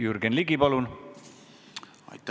Jürgen Ligi, palun!